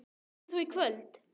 Kemur þú í kvöld?